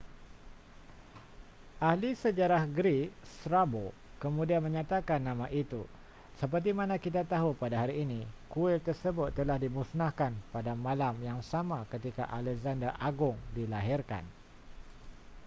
ahli sejarah greek strabo kemudian menyatakan nama itu sepertimana kita tahu pada hari ini kuil tersebut telah dimusnahkan pada malam yang sama ketika alexander agung dilahirkan